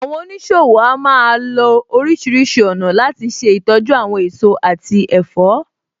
Àwọn oníṣòwò a máa lo oríṣìíríṣìí ọ̀nà láti ṣe ìtọ́jú àwọn èso àti ẹ̀fọ́.